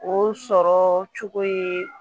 O sɔrɔ cogo ye